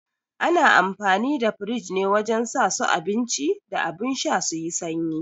Ana amfani da firij ne wajen sa su abinci da abun sha su yi sanyi